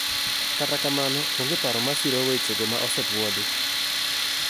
kata kamano, onge paro masiro wechego ma osepuodhi